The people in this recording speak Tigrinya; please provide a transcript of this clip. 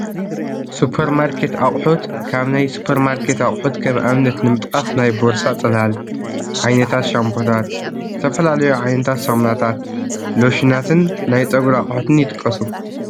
ሱፐርማርኬት ኣቑሑት፡- ካብ ናይ ሱፐርማርኬት ኣቑሑት ከም ኣብነት ንምጥቃስ ናይ ቦርሳ ፅላል፣ ዓይነታት ሻምቦታት፣ ዝተፈላለዩ ዓይነታት ሳሙናታት፣ ሎሽናትን ናይ ፀጉሪ ኣቑሑትን ይጥቀሱ፡፡